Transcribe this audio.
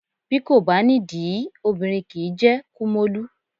Bí kò bá nídìí, obìnrin kì í jẹ́ kúmólú.